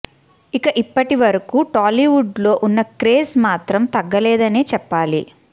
ఇక ఇప్పటి వరకు టాలీవుడ్ లో ఉన్న క్రేజ్ మాత్రం తగ్గలేదనే చెప్పాలి